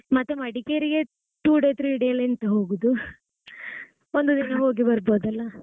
ಮತ್ತೆ ಮಡಿಕೇರಿಗೆ two day, three day ಎಲ್ಲಾ ಎಂತ ಹೋಗುದು ಒಂದು ದಿನ ಹೋಗಿ ಬರ್ಬೋದಲ್ಲ.